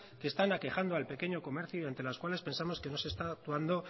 que están aquejando al pequeño comercio y ante las cuales pensamos que no se está actuando